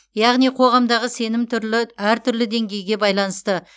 яғни қоғамдағы сенім түрлі әртүрлі деңгейге байланысты